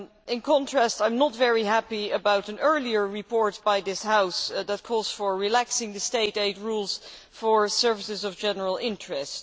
In contrast, I am not very happy about an earlier report by this House that calls for relaxing the state aid rules for services of general interest.